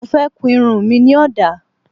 Mo fẹ́ kun irun mi ní ọ̀dà